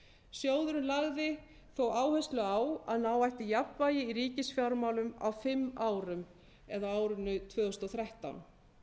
sjóðurinn lagði þó áherslu á að ná ætti jafnvægi í ríkisfjármálum á fimm árum eða á árinu tvö þúsund og þrettán